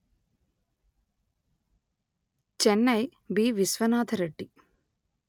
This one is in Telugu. చెన్నై బివిశ్వనాథ రెడ్డి